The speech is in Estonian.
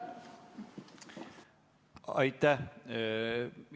Aitäh!